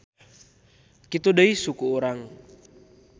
Kitu deui suku urang.